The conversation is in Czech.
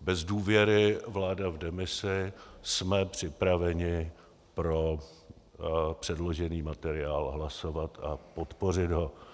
bez důvěry, vláda v demisi, jsme připraveni pro předložený materiál hlasovat a podpořit ho.